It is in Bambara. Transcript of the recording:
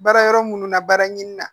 Baara yɔrɔ munnu na baara ɲini na